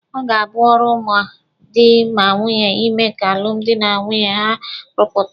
Ọ ga-abụ ọrụ ma dị ma nwunye ịme ka alụmdi na nwunye ha rụpụta.